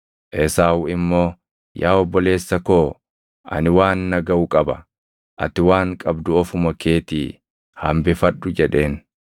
Esaawu immoo, “Yaa obboleessa koo ani waan na gaʼu qaba. Ati waan qabdu ofuma keetii hambifadhu” jedheen.